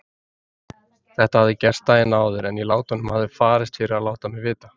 Þetta hafði gerst daginn áður en í látunum hafði farist fyrir að láta mig vita.